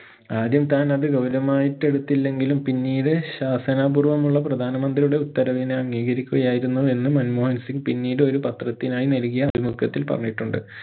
ആദ്യം താൻ അത് ഗൗരമായിട്ടെടുത്തില്ലെങ്കിലും പിന്നീട് ശാസനപൂർവ്വമുള്ള പ്രധാന മന്ത്രിയുടെ ഉത്തരവിനെ അംഗീകരിക്കുകയായിരുന്നു എന്നും മൻമോഹൻ സിംഗ് പിന്നീട് ഒരു പത്രത്തിനായി നൽകിയ അഭിമുഖത്തിൽ പറഞ്ഞിട്ടുണ്ട്